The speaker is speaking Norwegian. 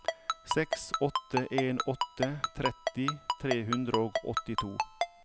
seks åtte en åtte tretti tre hundre og åttito